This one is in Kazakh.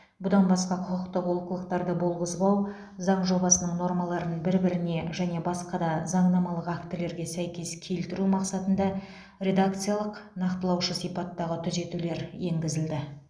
бұдан басқа құқықтық олқылықтарды болғызбау заң жобасының нормаларын бір біріне және басқа да заңнамалық актілерге сәйкес келтіру мақсатында редакциялық нақтылаушы сипаттағы түзетулер енгізілді